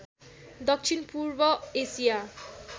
दक्षिण पूर्व एसिया